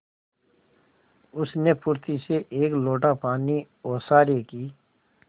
उसने फुर्ती से एक लोटा पानी ओसारे की